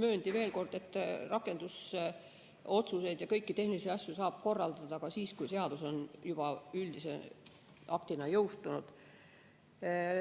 mööndi veel kord, et rakendusotsuseid ja kõiki tehnilisi asju saab korraldada ka siis, kui seadus on juba üldise aktina jõustunud.